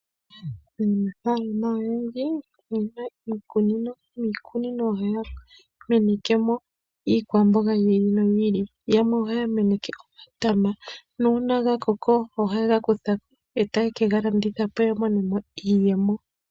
Aanafalama oyendji oyena iikunino. Iikunino ohaya menekemo iikwamboga yiilo noyi ili yamwe ohaya meneke omatama nuuna gakoko ohaye gakuthako ee taye kegalandithapo yamonemo iiyemo.